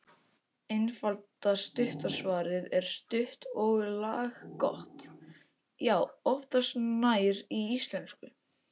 Einfalda, stutta svarið er stutt og laggott: Já, oftast nær í íslensku.